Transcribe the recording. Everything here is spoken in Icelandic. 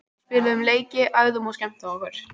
Við spiluðum leiki, æfðum og skemmtum okkur.